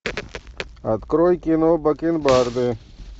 открой кино бакенбарды